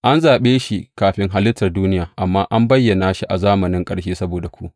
An zaɓe shi kafin halittar duniya, amma an bayyana shi a zamanin ƙarshe saboda ku.